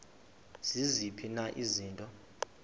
ziziphi na izinto